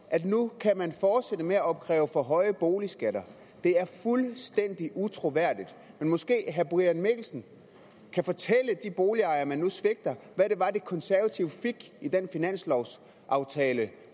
at man nu kan fortsætte med at opkræve for høje boligskatter det er fuldstændig utroværdigt men måske herre brian mikkelsen kan fortælle de boligejere man nu svigter hvad det var de konservative fik i den finanslovsaftale